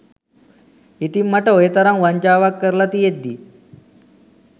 ඉතින් මට ඔය තරම් වංචාවක් කරලා තියෙද්දී